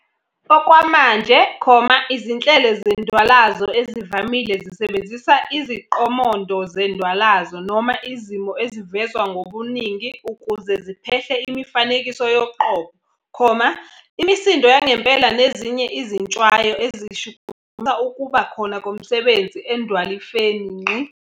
Okwamanje, izinhlelo zendwalazo ezivamile zisebenzisa iziqomondo zendwalazo noma Izimo ezivezwa ngobuningi ukuze ziphehle imifanekiso yoqobo, imisindo yangempela nezinye izintshwayo ezishukumisa ukuba khona komsebenzisi endwalifeni.